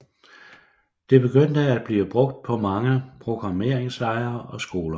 Det begyndte at blive brugt på mange programmeringslejre og skoler